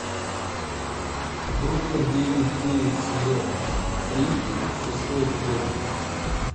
бруклин девять девять сезон три шестой эпизод